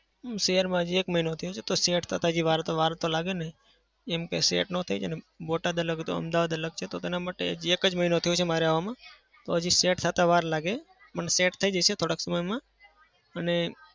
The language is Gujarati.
શહેરમાં હાજી એક મહિનો થયો છે તો set થતા હજી વાર તો વાર તો લાગેને. કેમ કે set ના થઈએ ને બોટાદ અલગ હતું અમદાવાદ અલગ છે. તો તેના માટે એક જ મહિનો થયો છે મારે આવામાં તો હજી set થતા વાર લાગે પણ set થઇ જશે થોડાક સમયમાં અને